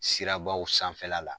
Sirabaw sanfɛla la